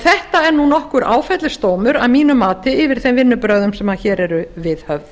þetta er nokkur áfellisdómur að mínu mati yfir þeim vinnubrögðum sem hér eru viðhöfð